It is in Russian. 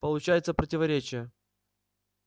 получается противоречие